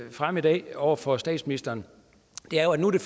frem i dag over for statsministeren er at nu er det